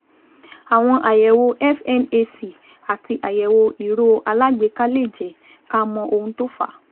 Àwọn àyẹ̀wò FNAC àti àyẹ̀wò ìró alágbèéká lè jẹ́ ká mọ ohun tó fà á